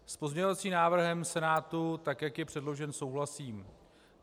S pozměňovacím návrhem Senátu, tak jak je předložen, souhlasím.